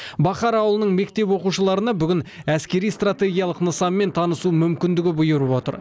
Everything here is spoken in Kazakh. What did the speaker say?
бахар ауылының мектеп оқушыларына бүгін әскери стратегиялық нысанмен танысу мүмкіндігі бұйырып отыр